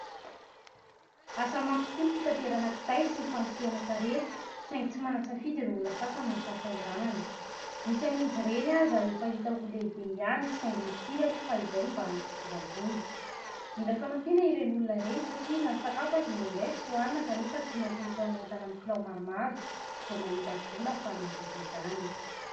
Asa mafy tokoa ny fitaterana kitay sy ny fanosehana sarety, saingy tsy manan-tsafidy ireo olona sasany noho ny fahasahiranany. Misy amin'izy ireny aza efa hita ho lehibe ihany, saingy nikiry aloha fa izay no mba hany fidiram-bola. Mila fanampiana ireny olona ireny satria na ny sakafo aza indraindray tsy hohanina, kanefa tsy maintsy mitaona entana amin'ny kilao maromaro vao mahita vola ahafahana mividy izany.